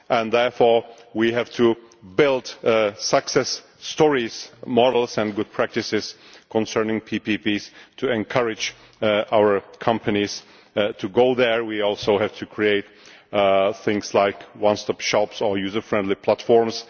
Therefore, we have to build success stories, models and good practices concerning PPPs to encourage our companies to go there. We also have to create things like one stop shops or user friendly platforms.